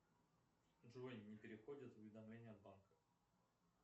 джой не приходят уведомления от банка